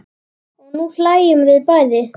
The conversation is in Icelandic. Og nú hlæjum við bæði.